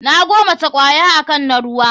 Na gomaci kwaya akan na ruwa.